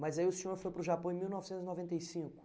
Mas aí o senhor foi para o Japão em mil novecentos e noventa e cinco?